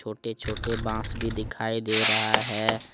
छोटे-छोटे बांस भी दिखाई दे रहा है।